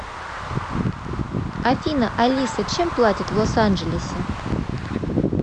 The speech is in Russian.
афина алиса чем платят в лос анджелесе